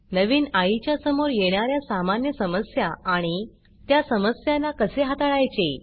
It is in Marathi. नवीन आईच्या समोर येणार्या सामान्य समस्या आणि त्या समस्यांना कसे हाताळायचे